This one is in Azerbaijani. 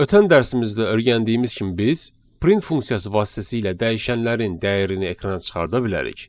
Ötən dərsimizdə öyrəndiyimiz kimi biz print funksiyası vasitəsilə dəyişənlərin dəyərini ekrana çıxarda bilərik.